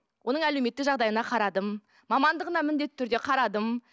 оның әлеуметтік жағдайына қарадым мамандығына міндетті түрде қарадым